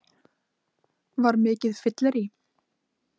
Var mikið fyllerí?